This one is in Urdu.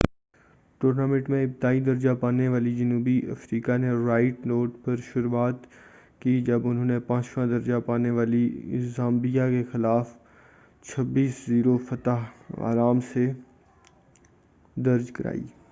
ٹورنامنٹ میں ابتدائی درجہ پانے والی جنوبی افریقا نے رائٹ نوٹ پر شروعات کی جب انھوں نے پانچواں درجہ پانے والی زامبیا کے خلاف 00-26 فتح آرام سے درج کرائی